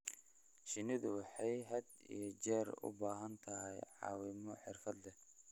Shinnidu waxay had iyo jeer u baahan tahay caawimo xirfad leh.